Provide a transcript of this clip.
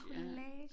En collage